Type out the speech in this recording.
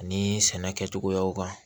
Ani sɛnɛ kɛcogoyaw kan